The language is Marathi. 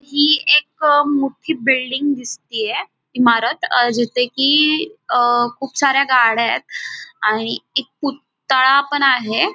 ही एक मोठी बिल्डिंग दिसतीये इमारत अह जिथे की अह खूप सारा गाड्यायत आणि एक पुतळा पण आहे.